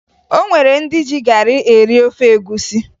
O nwere ndị ji garị eri ofe egwusi